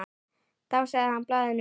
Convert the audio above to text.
Þá sagði hann blaðinu upp.